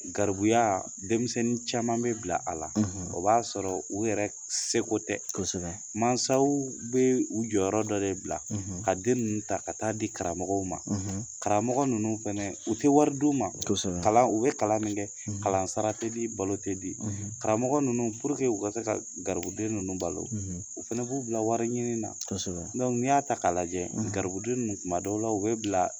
Garibuya denmisɛnnin caman bɛ bila a la o b'a sɔrɔ u yɛrɛ seko tɛ masaw bɛ u jɔyɔrɔ dɔ bila ka den ninnu ta ka taa di karamɔgɔw ma karamɔgɔ karamɔgɔ ninnu fana u tɛ wari di ma kalan u bɛ kalan min kɛ kalansara te di balo tɛ di karamɔgɔ ninnu u ka se ka garibuden ninnu balo u fana b'u bila wari ɲini na n'i y'a ta k'a lajɛ gariibuden ninnu kuma dɔw la u bɛ bila